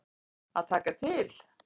Að taka til.